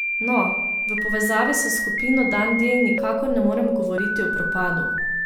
No, v povezavi s skupino Dan D nikakor ne moremo govoriti o propadu.